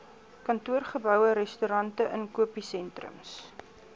kantoorgeboue restaurante inkopiesentrums